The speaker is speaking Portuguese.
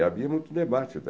E havia muito debate.